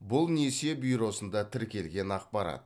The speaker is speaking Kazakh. бұл несие бюросында тіркелген ақпарат